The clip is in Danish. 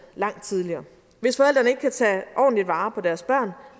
langt tidligere hvis forældrene ikke kan tage ordentligt vare på deres børn